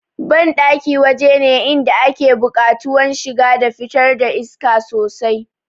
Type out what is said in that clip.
Banɗaki waje ne inda ake buƙatuwan shiga da fitar iska sosai